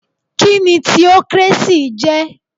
Kíni theocracy jẹ̀?